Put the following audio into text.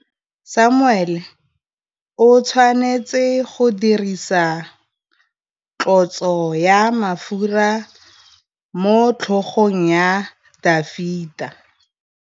Samuele o tshwanetse go dirisa tlotsô ya mafura motlhôgong ya Dafita.